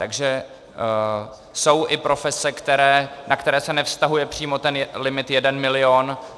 Takže jsou i profese, na které se nevztahuje přímo ten limit jeden milion.